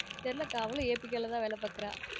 தெரில அக்கா அவளும் APK ல தான் வேல பாக்குறா